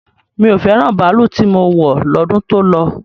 Mi ò fẹ́ràn baalú tí mo wọ̀ lọ́dún tó lọ.